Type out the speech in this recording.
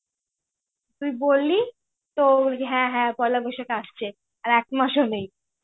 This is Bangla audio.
তুই বললি তোর র হ্যাঁ হ্যাঁ পয়লা বৈশাখ আসছে. আর একমাসও নেই.